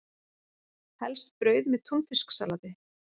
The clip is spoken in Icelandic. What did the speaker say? Helst brauð með túnfisksalati.